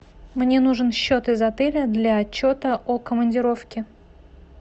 мне нужен счет из отеля для отчета о командировке